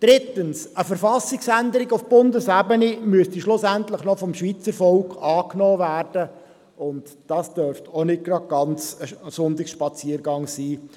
Drittens: Eine Verfassungsänderung auf Bundesebene müsste schlussendlich vom Schweizervolk noch angenommen werden, und dies dürfte auch nicht ganz ein Sonntagsspaziergang werden.